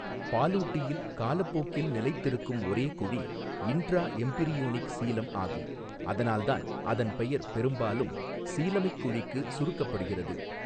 பாலூட்டியில் காலப்போக்கில் நிலைத்திருக்கும் ஒரே குழி இன்ட்ரா எம்பிரியோனிக் சீலம் ஆகும், அதனால்தான் அதன் பெயர் பெரும்பாலும் சீலமிக் குழிக்கு சுருக்கப்படுகிறது.